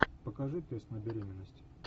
покажи тест на беременность